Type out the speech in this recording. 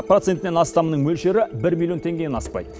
процентінен астамының мөлшері бір миллион теңгеден аспайды